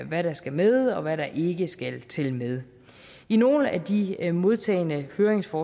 hvad der skal med og hvad der ikke skal tælle med i nogle af de modtagne høringssvar